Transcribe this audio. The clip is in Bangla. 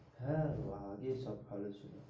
হ্যাঁ গো আগেই সব ভালো ছিল.